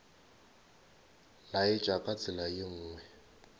laetša ka tsela ye nngwe